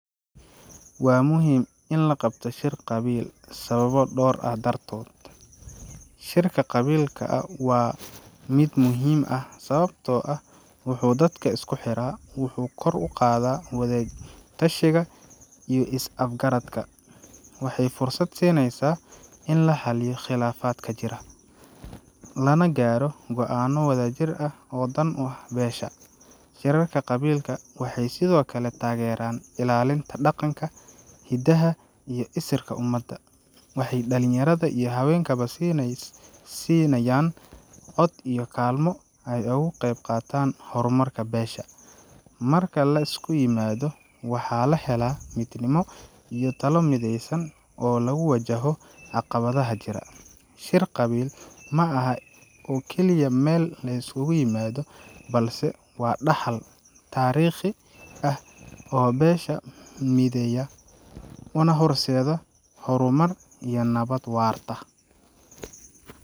Waa muhim in la qabto shir qabiil sababo dhoowr ah dhartoot. Shirka qabiil waa mid muhiim ah sababtoo ah wuxuu dadka isku xira, wuxuu kor u qaadaa wadatashiga iyo is-afgaradka. Waxay fursad siinaysaa in la xalliyo khilaafaadka jira, lana gaadho go'aanno wadajir ah oo dan u ah beesha. Shirarka qabiilka waxay sidoo kale taageeraan ilaalinta dhaqanka, hidaha iyo isirka ummadda. Waxay dhalinyarada iyo haweenkaba siinayaan cod iyo kaalmo ay uga qeyb qaataan horumarka beesha. Marka la isku yimaado, waxaa la helaa midnimo iyo talo mideysan oo lagu wajaho caqabadaha jira. Shir qabiil ma aha oo keliya meel la iskugu yimaado, balse waa dhaxal taariikhi ah oo beesha mideeya, una horseeda horumar iyo nabad waarta.